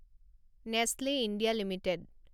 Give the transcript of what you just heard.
Nestle India limited